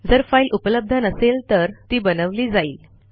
जर फाईल उपलब्ध नसेल तर ती बनवली जाईल